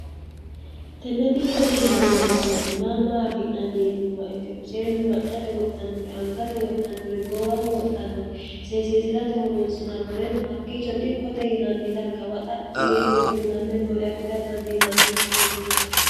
tenne dikkote yinanni baseenni maamaa afi'nanni yiinumma ikkiro seennu maccote woxxannore angate woxxannore goowaho woxxhannore seesiisi'rate horoonsi'nannoreno hakkiicho dikkote yinanni xargawa xaphi yeewe duuname noore afida dandiinanni baseeti yaate